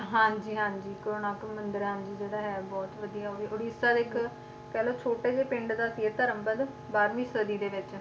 ਹਾਂਜੀ ਹਾਂਜੀ ਜਿਹੜਾ ਹੈ ਬਹੁਤ ਵਧੀਆ ਉਹ ਵੀ ਉੜੀਸਾ ਦੇ ਇੱਕ ਕਹਿ ਲਓ ਛੋਟੇ ਜਿਹੇ ਪਿੰਡ ਦਾ ਇਹ ਧਰਮ ਬਾਰਵੀਂ ਸਦੀ ਦੇ ਵਿੱਚ